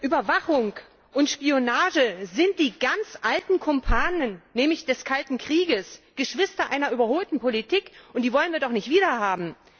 Überwachung und Spionage sind die ganz alten Kumpane des kalten Krieges, Geschwister einer überholten Politik, und die wollen wir doch nicht wiederhaben!